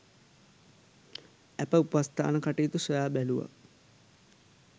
ඇපඋපස්ථාන කටයුතු සොයා බැලූවා